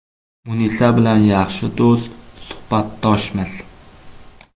Munisa bilan yaxshi do‘st, suhbatdoshmiz.